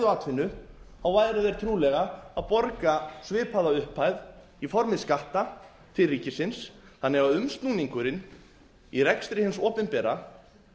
atvinnu þá væru þeir trúlega að borga svipaða upphæð í formi skatta til ríkisins þannig að umsnúningurinn í rekstri hins opinbera